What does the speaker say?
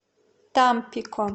тампико